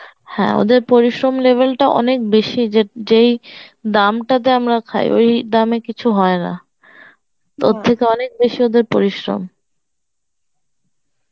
হ্যাঁ ওদের পরিশ্রম লেভেলটা অনেক বেশি যে যেই দামটাতে আমরা খাই ওই দামে কিছু হয় না থেকে অনেক বেশি ওদের পরিশ্রম